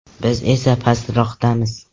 Biz esa pastroqamiz.